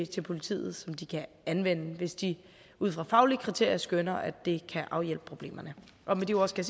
til politiet som de kan anvende hvis de ud fra faglige kriterier skønner at det kan afhjælpe problemerne med de ord skal